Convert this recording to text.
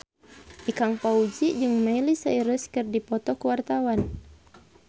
Ikang Fawzi jeung Miley Cyrus keur dipoto ku wartawan